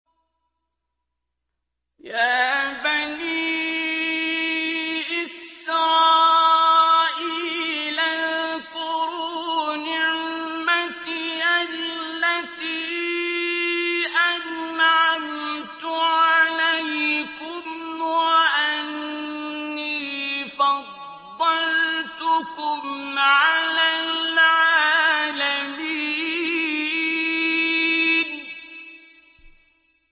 يَا بَنِي إِسْرَائِيلَ اذْكُرُوا نِعْمَتِيَ الَّتِي أَنْعَمْتُ عَلَيْكُمْ وَأَنِّي فَضَّلْتُكُمْ عَلَى الْعَالَمِينَ